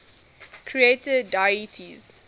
creator deities